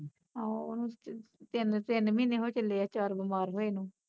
ਆਹੋ, ਓਹਨੂੰ ਚ ਤਿੰਨ ਤਿੰਨ ਮਹੀਨੇ ਹੋ ਚੱਲੇ ਐ ਚਾਰ ਬਿਮਾਰ ਹੋਏ ਨੂੰ